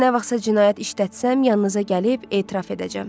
Hətta nə vaxtsa cinayət işlətsəm yanınıza gəlib etiraf edəcəm.